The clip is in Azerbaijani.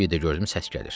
Bir də gördüm səs gəlir.